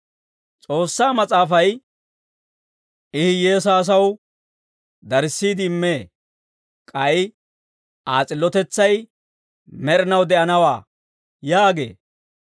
S'oossaa Mas'aafay, «I hiyyeesaa asaw darissiide immee; k'ay Aa s'illotetsay med'inaw de'anawaa» yaagee.